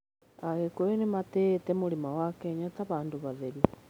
Agĩkũyũ nĩ matĩĩte mũrĩma wa Kenya ta handũ hatheru.